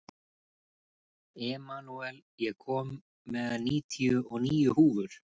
Emanúel, ég kom með níutíu og níu húfur!